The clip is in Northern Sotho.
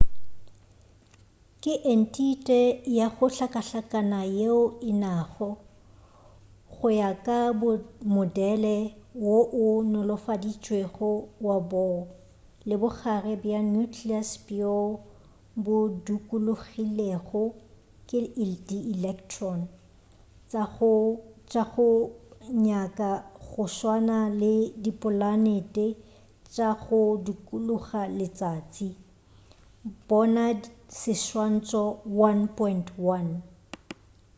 ke entite ya go hlakahlakana yeo e nago go ya ka modele wo o nolofaditšwego wa bohr le bogare bja nucleus bjo bo dukulogilego ke dielektron tša go nyaka go swana le dipolanete tša go dukuluga letšatši bona seswantšho 1.1